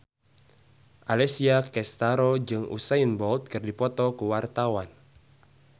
Alessia Cestaro jeung Usain Bolt keur dipoto ku wartawan